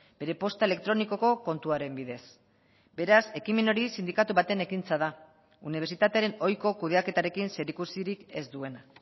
bere posta elektronikoko kontuaren bidez beraz ekimen hori sindikatu baten ekintza da unibertsitatearen ohiko kudeaketarekin zerikusirik ez duena